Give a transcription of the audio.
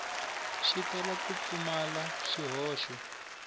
xi tala ku pfumala swihoxo